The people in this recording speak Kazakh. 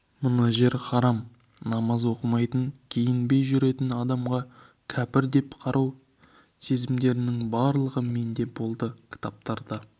мына жер харам намаз оқымайтын киінбей жүретін адамға кәпір деп қарау сезімдерінің барлығы менде болды кітаптарда